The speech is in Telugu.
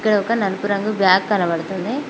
ఈడ ఒక నలుపు రంగు బ్యాగ్ కనబతుంది.